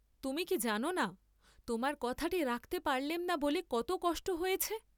তুমি কি জাননা তােমার কথাটি রাখতে পারলেম না বলে কত কষ্ট হয়েছে?